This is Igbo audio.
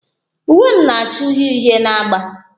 Uwe m na-acha uhie uhie na agba